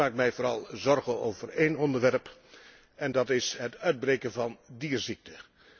Ik maak mij vooral zorgen over één onderwerp en dat is het uitbreken van dierziekten.